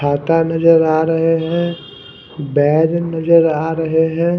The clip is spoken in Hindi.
हाता नजर आ रहे है बेग नजर आ रहे है।